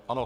Ano.